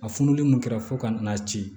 A fununen mun kɛra fo ka n'a ci